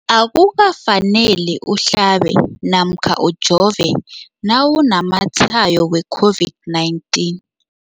Akuka faneli uhlabe namkha ujove nawu namatshayo we-COVID-19.